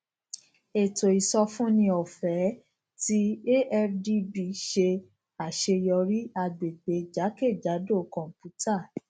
ètò ìsọfúnni ọfẹẹ ti afdb ṣe aṣeyọri agbegbe jakejado kọnputa